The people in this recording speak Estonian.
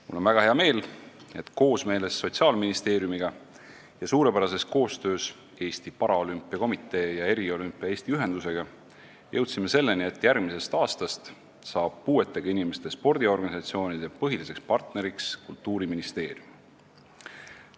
Mul on väga hea meel, et koosmeeles Sotsiaalministeeriumiga ning suurepärases koostöös Eesti Paralümpiakomitee ja Eriolümpia Eesti Ühendusega jõudsime selleni, et järgmisest aastast saab puuetega inimeste spordiorganisatsioonide põhiliseks partneriks Kultuuriministeerium.